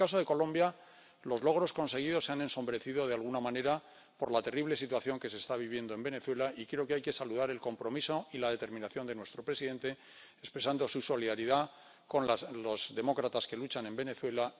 En el caso de Colombia, los logros conseguidos se han ensombrecido, de alguna manera, por la terrible situación que se está viviendo en Venezuela, y creo que hay que saludar el compromiso y la determinación de nuestro presidente expresando su solidaridad con los demócratas que luchan en Venezuela.